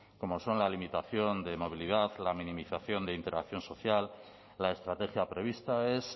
como son la limitación de movilidad la minimización de interacción social la estrategia prevista es